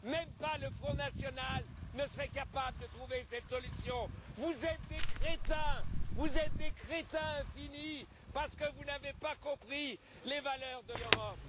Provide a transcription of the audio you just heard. Même le Front national ne serait pas capable de trouver cette solution. Vous êtes des crétins, vous êtes des crétins finis parce que vous n'avez pas compris les valeurs de l'Europe.